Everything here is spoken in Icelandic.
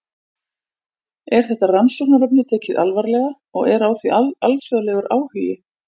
Er þetta rannsóknarefni tekið alvarlega og er á því alþjóðlegur áhugi?